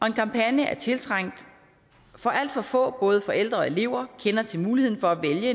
en kampagne er tiltrængt for alt for få både forældre og elever kender til muligheden for at vælge